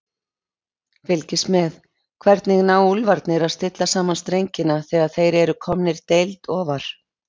Fylgist með: Hvernig ná Úlfarnir að stilla saman strengina þegar þeir eru komnir deild ofar?